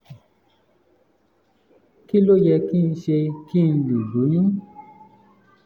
kí ló yẹ kí n ṣe kí n lè lóyún?